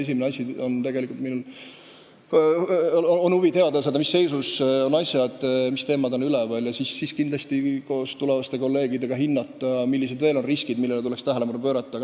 Minu esimene huvi on teada saada, mis seisus asjad on, millised teemad on üleval, ja siis kindlasti koos tulevaste kolleegidega hinnata, millistele riskidele tuleks veel tähelepanu pöörata.